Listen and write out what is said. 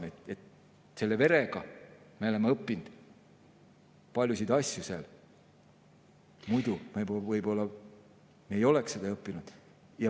Selle vere tõttu me oleme õppinud paljusid asju, mida me muidu võib-olla ei oleks õppinud.